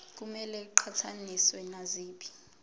kumele iqhathaniswe naziphi